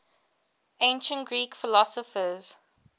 ancient greek philosophers